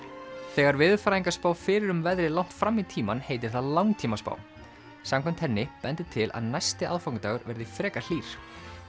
þegar veðurfræðingar spá fyrir um veðrið langt fram í tímann heitir það langtímaspá samkvæmt henni bendir til að næsti aðfangadagur verði frekar hlýr